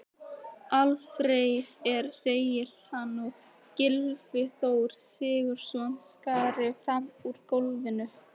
Alfreð segir að hann og Gylfi Þór Sigurðsson skari fram úr í golfinu.